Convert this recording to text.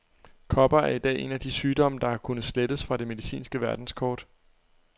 Kopper er i dag en af de sygdomme, der har kunnet slettes fra det medicinske verdenskort.